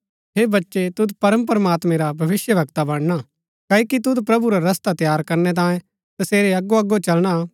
हे बच्चै तुद परमप्रमात्मैं रा भविष्‍यवक्ता बणना क्ओकि तुद प्रभु रा रस्ता तैयार करनै तांयें तसेरै अगोअगो चलना